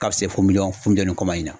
Ka se fo miliyɔn funjɛlen kɔma in na.